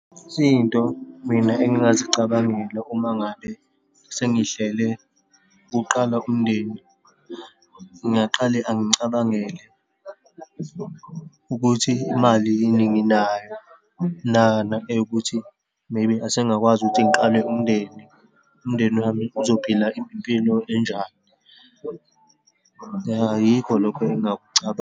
Izinto mina engingazicabangela uma ngabe sengihlele ukuqala umndeni, ngingaqale angicabangele ukuthi imali yini nginayo, eyokuthi maybe, asengakwazi ukuthi ngiqale umndeni. Umndeni wami uzophila impilo enjani. Ya, yikho lokho .